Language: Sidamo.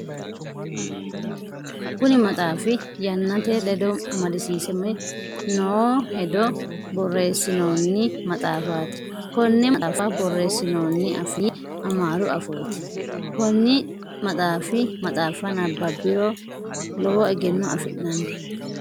Kunni maxaafi yannate ledo amadisiisame noo hedo boreesinoonni maxaafaati. Konne maxaafa boreesinnonni afii amaaru afooti. Konni maxaafa nababiro lowo egeno afi'nanni.